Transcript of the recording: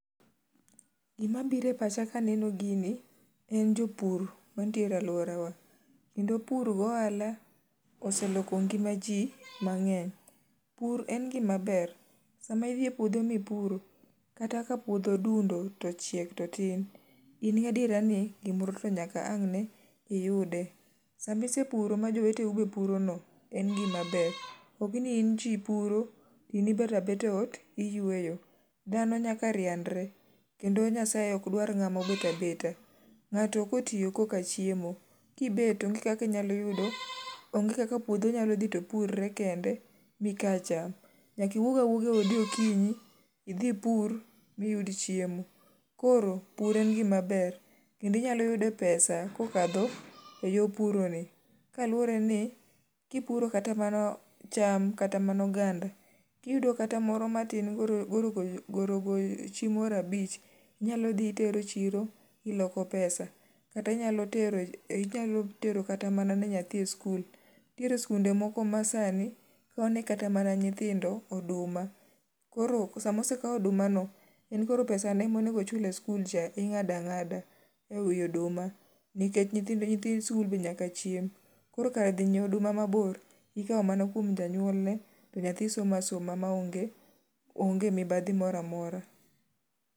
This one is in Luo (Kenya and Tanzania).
Gimabire pacha kaneno gini en jopur mantiere aluorawa. Kendo pur gohala oseloko ngima jii mang'eny. Pur en gima ber. Sama idhie puodho mipuro kata kapuodho dundo to ochiek to tin, in gadiera ni gimoro to nyaka ane iyude. Samisepuro ma joweteni bee purono en gima ber. Okni in jii puro in ibetga abeta eot iyueyo. Dhano nyaka rianre kendo Nyasaye okdwa ng'ama obeta beta.Ng'ato kotiyo koka chiemo. Kibet onge kaka inyalo yudo, onge kaka puodho nyalo dhi to purre kende mikaa cham. Nyakiwuogawuoga eodi okinyi, idhipur, biyud chiemo. Koro pur en gima ber kendo inyaloyudo pesa kokadho e yoo puroni kaluoreni kipuro kata mana cham kata mana oganda kiyudo kata moro matin gorogochi moro abich. Inyalodhi itero chiro iloko pesa. Kata inyalo tero kata ne mana nyathini e skul. Ntiere skunde moko ma sani kaone kata mana nyithindo oduma. Koro sama osekau odumano en koro pesane monegochule skulcha ing'adang'ada e wii oduma nikech nyithii skul be nyaka chiem. Koro kar dhi nyieo oduma mabor ikao mana kuom janyuolne to nyathi somasoma maonge mibadhi moramora.